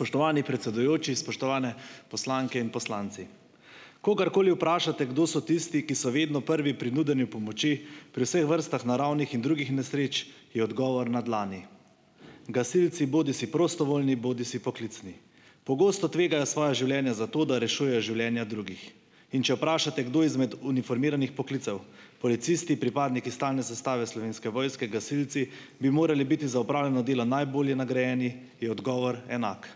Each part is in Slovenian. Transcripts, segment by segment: Spoštovani predsedujoči, spoštovane poslanke in poslanci! Kogarkoli vprašate, kdo so tisti, ki so vedno prvi pri nudenju pomoči pri vseh vrstah naravnih in drugih nesreč, je odgovor na dlani - gasilci, bodisi prostovoljni bodisi poklicni. Pogosto tvegajo svoja življenja za to, da rešujejo življenja drugih. In če vprašate, kdo izmed uniformiranih poklicev, policisti, pripadniki stalne sestave Slovenske vojske, gasilci, bi moral biti za opravljeno delo najbolje nagrajen, je odgovor enak.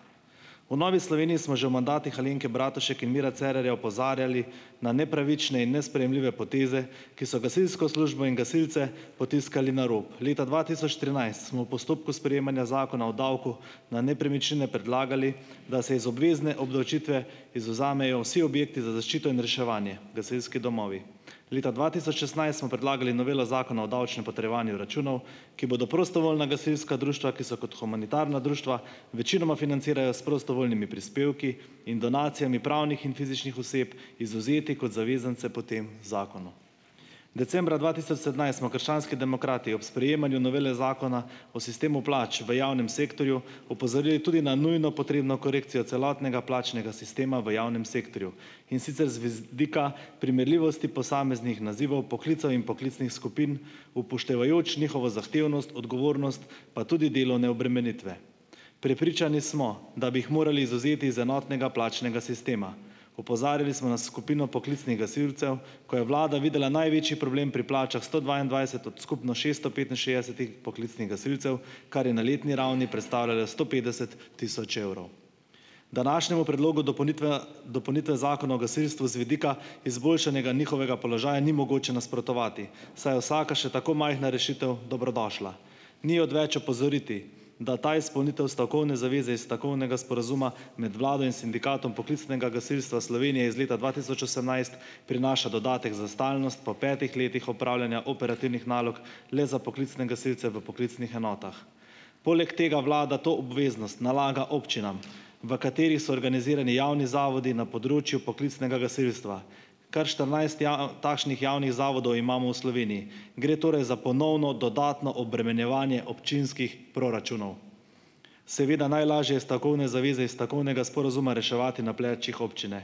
V Novi Sloveniji smo že v mandatih Alenke Bratušek in Mira Cerarja opozarjali na nepravične in nesprejemljive poteze, ki so gasilsko službo in gasilce potiskali na rob. Leta dva tisoč trinajst smo v postopku sprejemanja Zakona o davku na nepremičnine predlagali, da se iz obvezne obdavčitve izvzamejo vsi objekti za zaščito in reševanje, gasilski domovi. Leta dva tisoč šestnajst smo predlagali novelo Zakona o davčnem potrjevanju računov, ki bodo prostovoljna gasilska društva, ki se kot humanitarna društva večinoma financirajo s prostovoljnimi prispevki in donacijami pravnih in fizičnih oseb, izvzeli kot zavezance po tem zakonu. Decembra dva tisoč sedemnajst smo krščanski demokrati ob sprejemanju novele Zakona o sistemu plač v javnem sektorju opozorili tudi na nujno potrebno korekcijo celotnega plačnega sistema v javnem sektorju, in sicer vidika primerljivosti posameznih nazivov, poklicev in poklicnih skupin, upoštevajoč njihovo zahtevnost, odgovornost pa tudi delovne obremenitve. Prepričani smo, da bi jih morali izvzeti iz enotnega plačnega sistema. Opozarjali smo na skupino poklicnih gasilcev, ko je vlada videla največji problem pri plačah sto dvaindvajset od skupno šeststo petinšestdesetih poklicnih gasilcev, kar je na letni ravni predstavljalo sto petdeset tisoč evrov. Današnjemu predlogu dopolnitve Zakona o gasilstvu z vidika izboljšanja njihovega položaja ni mogoče nasprotovati, saj je vsaka, še tako majhna rešitev, dobrodošla. Ni odveč opozoriti, da ta izpolnitev stavkovne zaveze iz stavkovnega sporazuma med vlado in Sindikatom poklicnega gasilstva Slovenije iz leta dva tisoč osemnajst prinaša dodatek za stalnost po petih letih opravljanja operativnih nalog le za poklicne gasilce v poklicnih enotah. Poleg tega vlada to obveznost nalaga občinam, v katerih so organizirani javni zavodi na področju poklicnega gasilstva. Kar štirinajst takšnih javnih zavodov imamo v Sloveniji. Gre torej za ponovno dodatno obremenjevanje občinskih proračunov. Seveda, najlažje je stavkovne zaveze iz stavkovnega sporazuma reševati na plečih občine.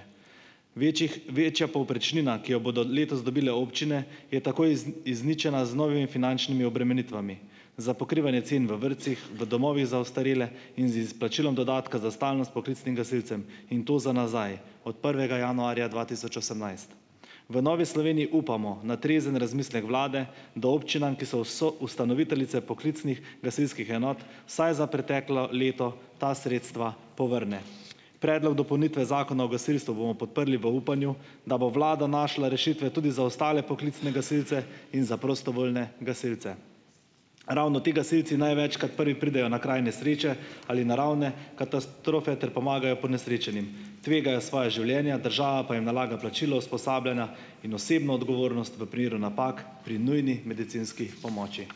Večjih večja povprečnina, ki jo bodo letos dobile občine, je tako izničena z novimi finančnimi obremenitvami, za pokrivanje cen v vrtcih, v domovih za ostarele in z izplačilom dodatka za stalnost poklicnim gasilcem, in to za nazaj, od prvega januarja dva tisoč osemnajst. V Novi Sloveniji upamo na trezen razmislek vlade, da občinam, ki so soustanoviteljice poklicnih gasilskih enot, vsaj za preteklo leto ta sredstva povrne. Predlog dopolnitve Zakona o gasilstvu bomo podprli, v upanju, da bo vlada našla rešitve tudi za ostale poklicne gasilce in za prostovoljne gasilce. Ravno ti gasilci največkrat prvi pridejo na kraj nesreče ali naravne katastrofe ter pomagajo ponesrečenim. Tvegajo svoja življenja, država pa jim nalaga plačilo usposabljanja in osebno odgovornost v primeru napak pri nujni medicinski pomoči.